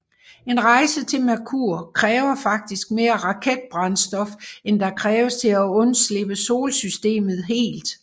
En rejse til Merkur kræver faktisk mere raketbrændstof end der kræves til at undslippe solsystemet helt